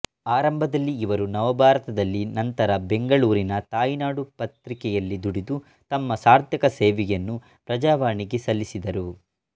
ಆರಂಭದಲ್ಲಿ ಇವರು ನವಭಾರತ ದಲ್ಲಿ ನಂತರ ಬೆಂಗಳೂರಿನ ತಾಯಿನಾಡು ಪತ್ರಿಕೆಯಲ್ಲಿ ದುಡಿದು ತಮ್ಮ ಸಾರ್ಥಕ ಸೇವೆಯನ್ನು ಪ್ರಜಾವಾಣಿಗೆ ಸಲ್ಲಿಸಿದರು